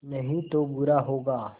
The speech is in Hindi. नहीं तो बुरा होगा